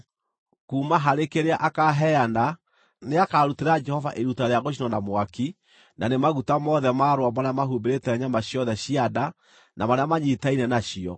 Kuuma harĩ kĩrĩa akaaheana, nĩakarutĩra Jehova iruta rĩa gũcinwo na mwaki: na nĩ maguta mothe ma rũambũ marĩa mahumbĩrĩte nyama ciothe cia nda na marĩa manyiitaine nacio,